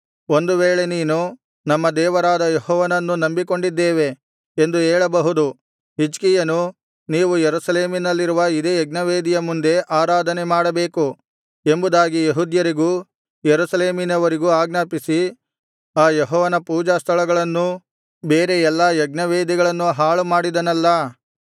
ಒಂದು ವೇಳೆ ನೀನು ನಮ್ಮ ದೇವರಾದ ಯೆಹೋವನನ್ನು ನಂಬಿಕೊಂಡಿದ್ದೇವೆ ಎಂದು ಹೇಳಬಹುದು ಹಿಜ್ಕೀಯನು ನೀವು ಯೆರೂಸಲೇಮಿನಲ್ಲಿರುವ ಇದೇ ಯಜ್ಞವೇದಿಯ ಮುಂದೆ ಆರಾಧನೆ ಮಾಡಬೇಕು ಎಂಬುದಾಗಿ ಯೆಹೂದ್ಯರಿಗೂ ಯೆರೂಸಲೇಮಿನವರಿಗೂ ಆಜ್ಞಾಪಿಸಿ ಆ ಯೆಹೋವನ ಪೂಜಾಸ್ಥಳಗಳನ್ನೂ ಬೇರೆ ಎಲ್ಲಾ ಯಜ್ಞವೇದಿಗಳನ್ನೂ ಹಾಳುಮಾಡಿದನಲ್ಲಾ